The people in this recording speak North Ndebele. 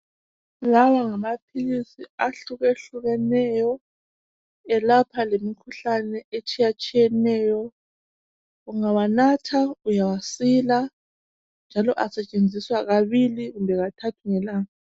Lawa ngamaphilisi ahlukehlukeneyo, elapha lemikhuhlane etshiyatshiyeneyo. Ungawanatha uyasila njalo asetshenziswa kabili kumbe kathathu ngelanga.